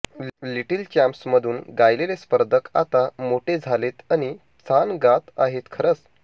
little champs म्हणुन गायलेले स्पर्धक आता मोठे झालेत आणि छान गात आहेत खरच